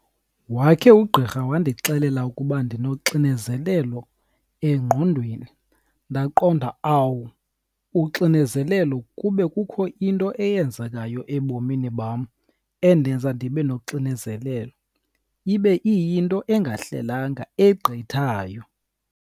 Wakhe ugqirha wandixelela ukuba ndinoxinezelelo engqondweni ndaqonda awu, uxinezelelo kube kukho into eyenzekayo ebomini bam endenza ndibe noxinezelelo, ibe iyinto engahlelanga egqithayo.